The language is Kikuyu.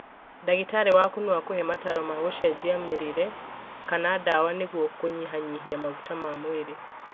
Ndagĩtarĩ waku no akũhe mataro ma gũenjia mĩrĩre kana dawa nĩguo kũnyihanyia maguta ma mwĩrĩ